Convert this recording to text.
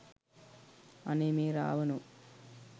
අනේ මේ රාවනෝ